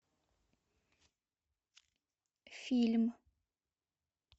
фильм